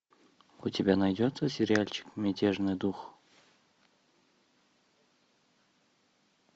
у тебя найдется сериальчик мятежный дух